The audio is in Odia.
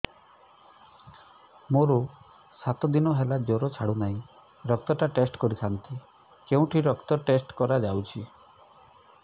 ମୋରୋ ସାତ ଦିନ ହେଲା ଜ୍ଵର ଛାଡୁନାହିଁ ରକ୍ତ ଟା ଟେଷ୍ଟ କରିଥାନ୍ତି କେଉଁଠି ରକ୍ତ ଟେଷ୍ଟ କରା ଯାଉଛି